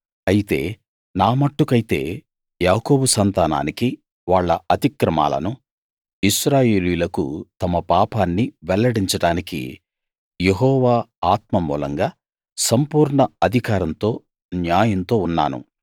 అయితే నా మట్టుకైతే యాకోబు సంతానానికి వాళ్ళ అతిక్రమాలనూ ఇశ్రాయేలీయులకు తమ పాపాన్ని వెల్లడించడానికి యెహోవా ఆత్మమూలంగా సంపూర్ణ అధికారంతో న్యాయంతో ఉన్నాను